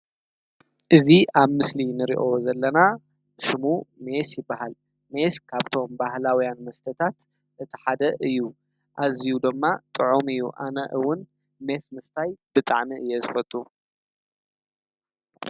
እዚ ኣብ ምስሊ ንሪኦ ዘለና ስሙ ሜስ ይባሃል፡፡ ሜስ ካብቶም ባህላውያን መስተታት እቲ ሓደ እዩ ኣዝዩ ድማ ጥዑም እዩ። ኣነ ውን ሜስ ምስታይ ብጣዕሚ እየ ዝፈቱ፡፡